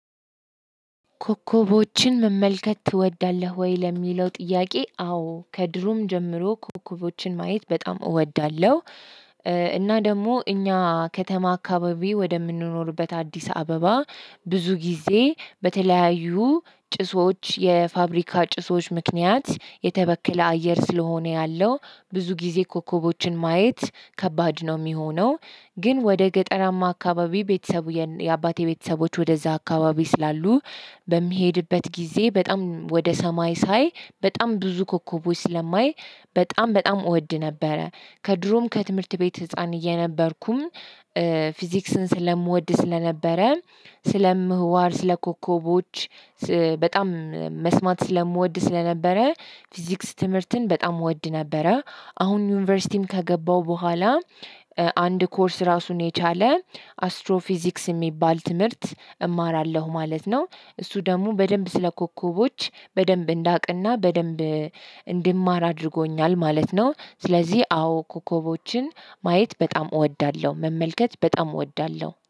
ኮከቦችን መመልከት ትወዳለህ ወይ? ለሚለው ጥያቄ አዎ ከድሮም ጀምሮ ኮከቦችን ማየት በጣም እወዳለሁ። እና ደግሞ እኛ ከተማ አካባቢ ወደምንኖርበት አዲስ አበባ ብዙ ጊዜ በተለያዩ ጭሶች የፋብሪካ ጭሶች ምክንያት የተበከለ አየር ስለሆነ ያለው ብዙ ጊዜ ኮከቦችን ማየት ከባድ ነው የሚሆነው፣ ግን ወደ ገጠራማ አካባቢ ቤተሰቡ የአባቴ ቤተሰቦች ወደዛ አካባቢ ስላሉ በሚሄድበት ጊዜ በጣም ወደ ሰማይ ሳይ በጣም ብዙ ኮከቦች ስለማይ በጣም በጣም እወድ ነበረ። ከድሮም ከትምህርት ቤት ህፃን እየነበርኩም ፊዝክስን ስለምወድ ስለነበረም ስለምህዋር፣ ስለኮኮቦች በጣም መስማት ስለምወድ ስለነበረ ፊዝክስ ትምህርትን በጣም እወድ ነበረ። አሁን ዩኒቨርሲቲም ከገባው በኋላ አንድ ኮርስ ራሱን የቻለ አስትሮፊዚክስ የሚባል ትምህርት እማራለሁ ማለት ነው። እሱ ደግሞ በደንብ ስለ ኮኮቦች በደንብ እንዳቅና በደንብ እንዲማር አድርጎኛል ማለት ነው። ስለዚህ አዎ ኮከቦችን ማየት በጣም እወዳለሁ፣ መመልከት በጣም እወዳለሁ።